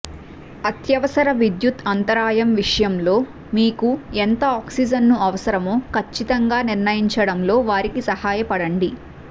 అత్యవసర విద్యుత్తు అంతరాయం విషయంలో మీకు ఎంత ఆక్సిజన్ను అవసరమో ఖచ్చితంగా నిర్ణయించడంలో వారికి సహాయపడండి